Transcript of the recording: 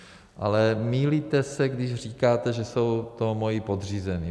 Ale mýlíte se, když říkáte, že jsou to moji podřízení.